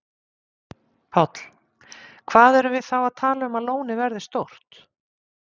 Páll: Hvað erum við þá að tala um að lónið verði stórt?